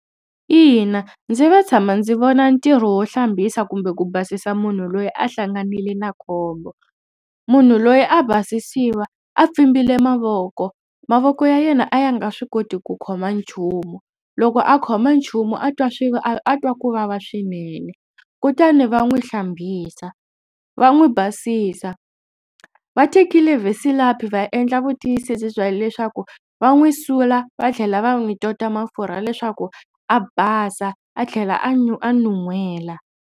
Ina ndzi ve tshama ndzi vona ntirho wo hlambisa kumbe ku basisa munhu loyi a hlanganile na khombo. Munhu loyi a basisiwa a pfimbile mavoko. Mavoko ya yena a ya nga swi koti ku khoma nchumu. Loko a khoma nchumu a twa a twa ku vava swinene kutani va n'wi hlambisa va n'wi basisa. Va tekile vaslapi va endla vutiyisisi bya leswaku va n'wi sula va tlhela va n'wi tota mafurha leswaku a basa a tlhela a nwu a nuhela.